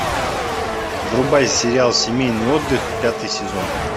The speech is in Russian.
врубай сериал семейный отдых пятый сезон